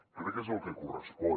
crec que és el que correspon